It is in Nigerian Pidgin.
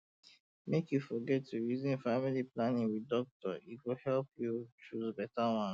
make you no forget to reason family planning with doctor e go help you choose better one